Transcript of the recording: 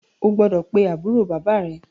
O gbọ́dọ̀ pe àbúrò bàbá à rẹ.